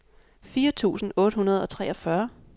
fire tusind otte hundrede og treogfyrre